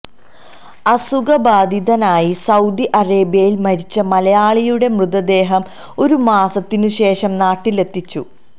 അസുഖ ബാധിതനായി സൌദി അറേബ്യയില് മരിച്ച മലയാളിയുടെ മൃതദേഹം ഒരു മാസത്തിന് ശേഷം നാട്ടിലെത്തിച്ചു